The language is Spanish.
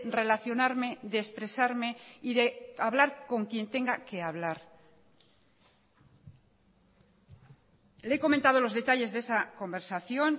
relacionarme de expresarme y de hablar con quien tenga que hablar le he comentado los detalles de esa conversación